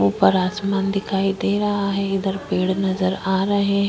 ऊपर आसमान दिखाई दे रहा है इधर पेड़ नज़र आ रहा है।